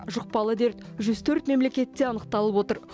жұқпалы дерт жүз төрт мемлекетте анықталып отыр